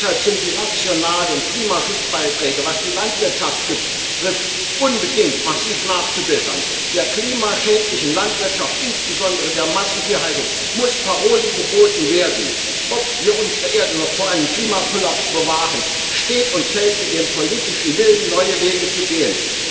Deshalb sind die nationalen Klimaschutzbeiträge, was die Landwirtschaft betrifft, unbedingt massiv nachzubessern. Der klimaschädlichen Landwirtschaft, insbesondere der Massentierhaltung, muss Paroli geboten werden. Ob wir unsere Erde noch vor einem Klimakollaps bewahren, steht und fällt mit dem politischen Willen, neue Wege zu gehen.